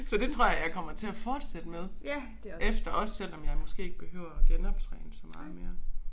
Så det tror jeg jeg kommer til at fortsætte med efter også selvom jeg måske ikke behøver at genoptræne så meget mere